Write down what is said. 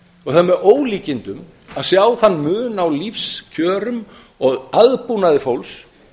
og það er með ólíkindum að sjá þann mun á lífskjörum og aðbúnaði fólks